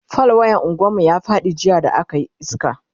fal wayan unguwan mu ya Faɗi jiya da akayi iska